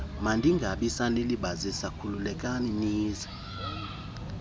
mandingabisanilibazisa khululekani nize